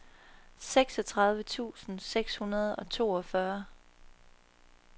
seksogtredive tusind seks hundrede og toogfyrre